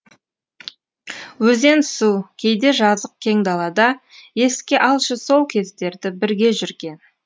өзен су кейде жазық кең далада еске алшы сол кездерді бірге жүрген